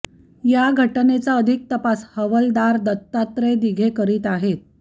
या घटनेचा अधिक तपास हवालदार दत्तात्रय दिघे करीत आहेत